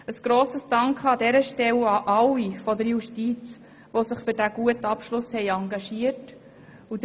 Ein grosser Dank geht an dieser Stelle an alle Mitarbeitenden der Justiz, die sich für diesen guten Abschluss engagiert haben.